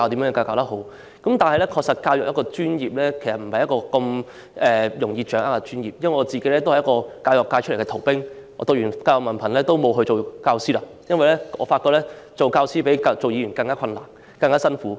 不過，教育的確是一個不容易掌握的專業，我也是一個教育界的逃兵，修讀完教育文憑後沒有當教師，因為我發覺當教師比當議員更困難和辛苦。